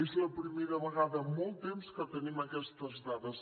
és la primera vegada en molt temps que tenim aquestes dades